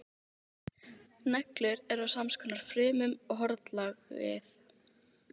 Það er alltaf lífs von, svarar læknirinn véfréttarlega.